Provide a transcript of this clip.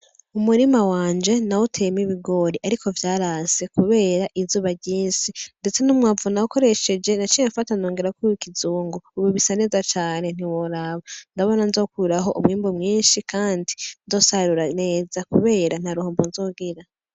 Umurima wanje nawuteyemwo ibigori ariko vyaranse kubera izuba ryinshi. Ndetse n'umwavu nakoresheje, naciye mfata nongerako uw'ikizungu. Ubu bisa neza cane ntiworaba. Ndabona nzokuraho umwimbu mwinshi kandi nzosarura neza kubera ntaruhombo nzogira.